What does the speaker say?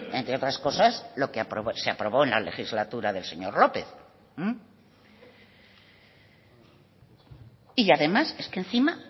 entre otras cosas lo que se aprobó en la legislatura del señor lópez y además es que encima